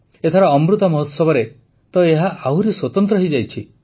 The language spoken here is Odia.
ଏଥର ଅମୃତ ମହୋତ୍ସବରେ ତ ଏହା ଆହୁରି ସ୍ୱତନ୍ତ୍ର ହୋଇଯାଇଛି